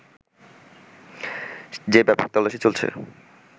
যে ব্যাপক তল্লাশি চলছে